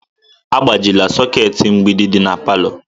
Agbajila soketi mgbidi di na palọ!